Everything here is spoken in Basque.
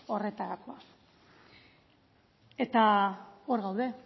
horretarako eta hor gaude